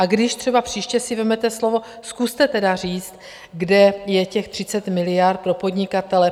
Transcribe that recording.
A když třeba příště si vezmete slovo, zkuste tedy říct, kde je těch 30 miliard pro podnikatele.